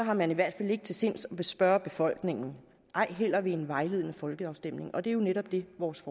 har man i hvert fald ikke til sinds at spørge befolkningen ej heller ved en vejledende folkeafstemning og det er jo netop det vores